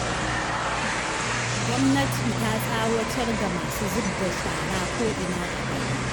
Gwamnati ta tsawatar ga masu zub da shara ko'ina a gari